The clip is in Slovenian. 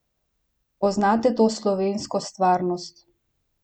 Poznate to slovensko stvarnost?